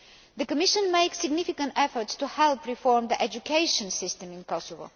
The Commission is making significant efforts to help reform the education system in Kosovo.